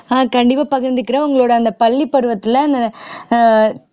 ஆஹ் கண்டிப்பா பகிர்ந்துக்கிறேன் உங்களோட அந்த பள்ளி பருவத்துல ஆஹ்